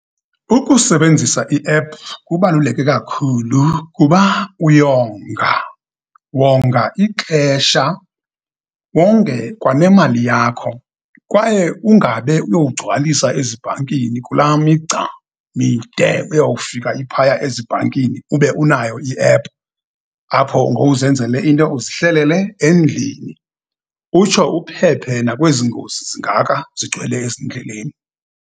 Ukusebenzisa iephu kubaluleke kakhulu kuba uyonga, wonga ixesha, wonge kwanemali yakho, kwaye ungabe uyowugcwalisa ezibhankini kula migca mide uyowufika iphaya ezibhankini, ube unayo iephu, apho ngowuzenzele into uzihlelele endlini, utsho uphephe nakwezi ngozi zingaka zigcwele ezindleleni.